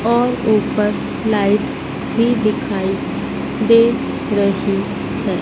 और ऊपर लाइट भी दिखाई दे रही है।